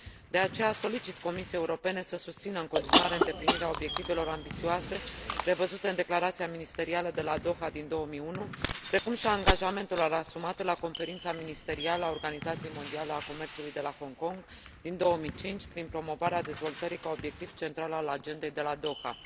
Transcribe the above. De aceea, solicit Comisiei Europene să susțină în continuare îndeplinirea obiectivelor ambițioase prevăzute în Declarația ministerială de la Doha din 2001, precum și a angajamentelor asumate la Conferința ministerială a Organizației Mondiale a Comerțului de la Hong Kong din 2005, prin promovarea dezvoltării ca obiectiv central al Agendei de la Doha.